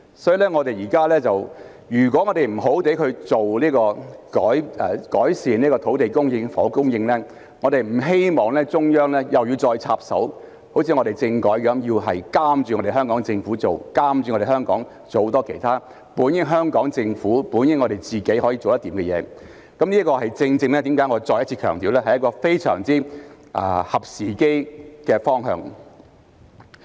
所以，我們必須好好改善土地供應及房屋供應，我們不希望中央又要再插手，像在政改方面，要監督香港政府做事，監督着香港做很多其他本應是香港政府及我們自己可以做得來的事情，這正正是為何我要再次強調，這是一個非常合時機的方向。